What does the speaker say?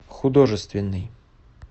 художественный